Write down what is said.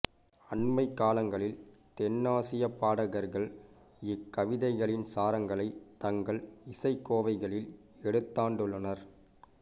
அண்மைக் காலங்களில் தென்னாசியப் பாடகர்கள் இக்கவிதைகளின் சாரங்களைத் தங்கள் இசைக் கோவைகளில் எடுத்தாண்டுள்ளனர்